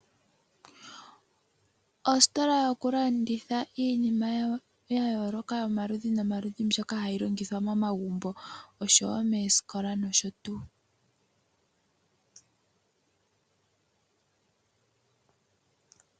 Ositola yokulanditha iinima ya yooloka yomaludhi nomaludhi mbyoka hayi longithwa momagumbo noshowo moosikola nosho tuu.